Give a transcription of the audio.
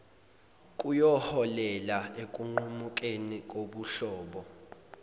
kuyoholela ekunqumukeni kobuhlobo